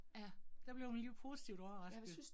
Ja, der blev man alligevel positivt overrasket